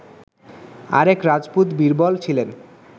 আরেক রাজপুত, বীরবল, ছিলেন